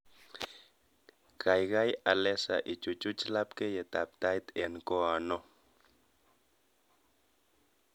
Gaigai alesa ichuchuch labkeiyetab Tait eng koin oo